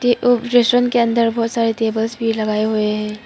और रेस्टोरेंट के अंदर बहुत सारे टेबल्स भी लगाए हुए हैं।